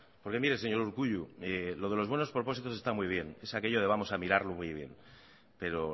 porque mire señor urkullu lo de los buenos propósitos está muy bien es aquello de mirarlo muy bien pero